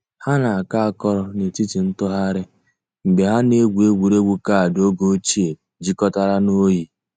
Hà nà-àkọ̀ àkọ̀rò nètìtì ntụ̀ghàrì mgbè hà nà-ègwù ègwè́ré́gwụ̀ kaadị ògè òchìè jìkọ̀tàrà nà òyì.